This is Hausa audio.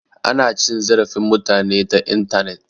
Ana cin zarafin mutane ta intanet